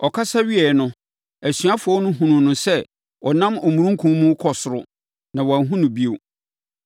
Ɔkasa wieeɛ no, asuafoɔ no hunuu no sɛ ɔnam omununkum mu rekɔ ɔsoro na wɔanhunu no bio.